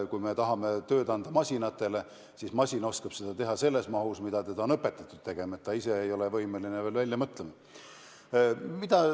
Kui me tahame osa tööd anda masinatele, siis masin oskab seda teha selles mahus, nagu teda on õpetatud tegema, ta ise ei ole veel võimeline mõtlema.